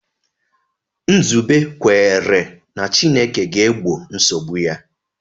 Nzube kwere na Chineke ga-egbo nsogbu ya.